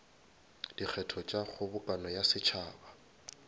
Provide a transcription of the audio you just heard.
dikgetho tša kgobokano ya setšhaba